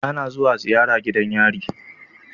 Ana zuwa ziyara gidan yari